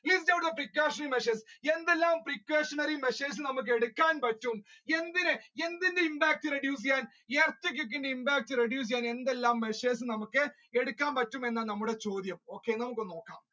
List out the precautionary measures എന്തെല്ലാം precautionary measures നമുക്കെടുക്കാൻ പറ്റും എന്തിനെ~എന്തിന്റെ impact reduce ചെയ്യാൻ earthquake ന്റെ impact reduce ചെയ്യാൻ എന്തെല്ലാം measures നമുക്ക് എടുക്കാൻ പറ്റുമെന്ന നമ്മുടെ ചോദ്യം okay നമുക്കൊന്ന് നോക്കാം.